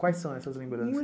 Quais são essas lembranças?